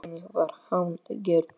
Þannig var hann gerður.